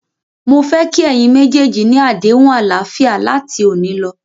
Mó fẹ́ kí ẹ̀yin méjèèjì ni àdéhùn àlàáfíà láti òní lọ.!